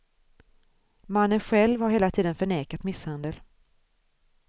Mannen själv har hela tiden förnekat misshandel.